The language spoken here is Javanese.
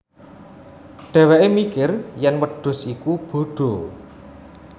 Dheweke mikir yen wedhus iku bodo